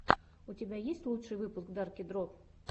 у тебя есть лучший выпуск дарки дро